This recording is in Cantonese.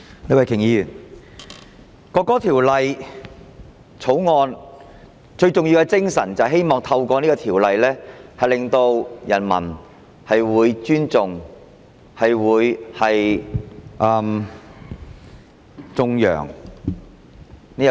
李慧琼議員，《國歌條例草案》最重要的精神，是希望透過法例令人民尊重和頌揚國歌。